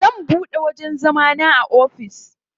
Zan buɗe wajen zama na ofis.